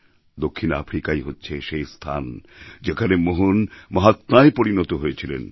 দক্ষিণ আফ্রিকাই হচ্ছে সেই স্থান যেখানে মোহন মহাত্মায় পরিণত হয়েছিলেন